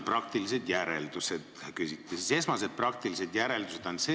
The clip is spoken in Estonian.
Teie käest küsiti, millised on praktilised järeldused juhtunust.